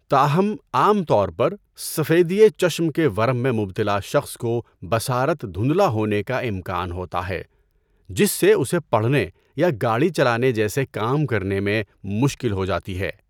تاہم، عام طور پر، سفیدئ چشم کے ورم میں مبتلا شخص کو بصارت دھندلا ہونے کا امکان ہوتا ہے، جس سے اسے پڑھنے یا گاڑی چلانے جیسے کام کرنے میں مشکل ہو جاتی ہے۔